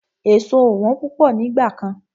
Èso ò wọ́n púpọ̀ nígbà kan.